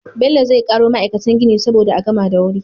Bello zai karo ma'aikatan gini saboda a gama da wuri